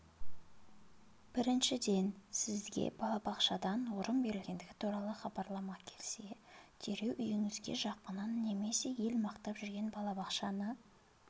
біріншіден сізге балабақшадан орын берілгендігі туралы хабарлама келсе дереу үйіңізге жақынын немесе ел мақтап жүрген балабақшаны